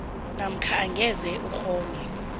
namkha angeze ukghone